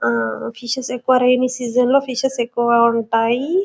Fishes ఎక్కువగా rain సీజన్లో లో ఫిషెస్ ఎక్కువగా ఉంటాయి .